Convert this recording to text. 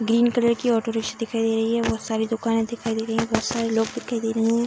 धीन colour की auto rickshaw दिखाई दे रही है बहुत सारी दुकाने दिखाई दे रही है बहुत सारे लोग भी दिखाई दे रहे है।